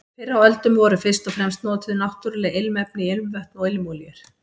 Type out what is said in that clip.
Fyrr á öldum voru fyrst og fremst notuð náttúruleg ilmefni í ilmvötn og ilmolíur.